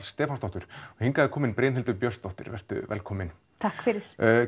Stefánsdóttur og hingað er komin Brynhildur Björnsdóttir vertu velkomin takk fyrir